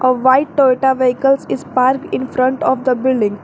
White toyota vehicles is park in front of the building.